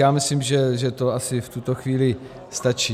Já myslím, že to asi v tuto chvíli stačí.